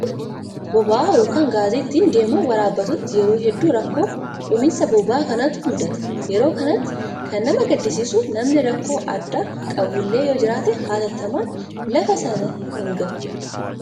Bakka konkolaataan deemee boba'aa yookaan gaazii ittiin deemu waraabbatutti yeroo hedduu rakkoo dhumiinsa boba'aa kanaatu mudata. Yeroo kanatti kan nama gaddisiisu namni rakkoo addaa qabullee yoo jiraate hatattamaan lafa sana hin gahu.